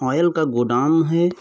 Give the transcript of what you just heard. Oil का godown है।